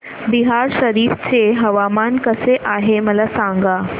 बिहार शरीफ चे हवामान कसे आहे मला सांगा